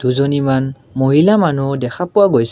দুজনীমান মহিলা মানুহো দেখা পোৱা গৈছে।